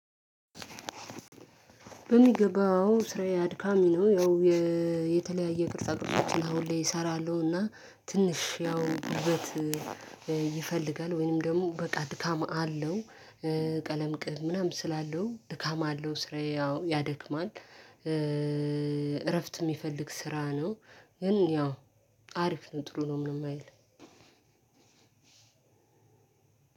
በሚገባው ስራዬ አድካሚ ነው። ያው የተለያየ ቅርጻ ቅርጾችን አሁን ላይ እሰራለሁ እና ትንሽ ያው ዉበት ይፈልጋል ወይንም ደግሞ በቃ ድካም አለው። ቀለም ቅብ ምናምን ስላለው ድካም አለው ስራዬ ያው ያደክማል። እረፍት ሚፈልግ ስራ ነው። ግን ያው አሪፍ ነው ጥሩ ነው ምንም አይልም።